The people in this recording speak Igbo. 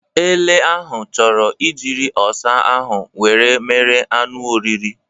Ele ahụ chọrọ ijịrị ọsa ahụ wee mere anụ oriri